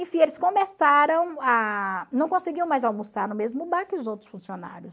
Enfim, eles começaram a... não conseguiam mais almoçar no mesmo bar que os outros funcionários.